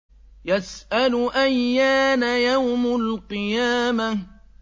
يَسْأَلُ أَيَّانَ يَوْمُ الْقِيَامَةِ